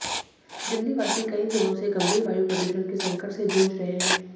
दिल्लीवासी कई दिनों से गंभीर वायु प्रदूषण के संकट से जूझ रहे हैं